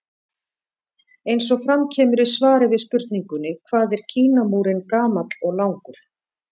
Eins og fram kemur í svari við spurningunni Hvað er Kínamúrinn gamall og langur?